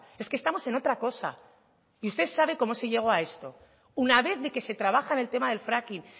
es que estamos en otra cosa y usted sabe cómo se llegó a esto una vez de que se trabaja en el tema del fracking